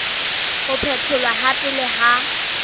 ho phetholwa ha pele ha